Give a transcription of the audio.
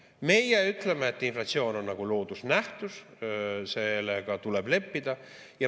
Meie ütleme, et inflatsioon on nagu loodusnähtus, sellega tuleb leppida.